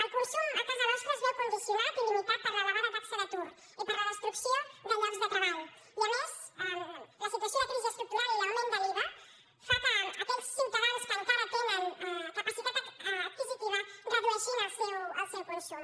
el consum a casa nostra es veu condicionat i limitat per l’elevada taxa d’atur i per la destrucció de llocs de treball i a més la situació de crisi estructural i l’augment de l’iva fa que aquells ciutadans que encara tenen capacitat adquisitiva redueixin el seu consum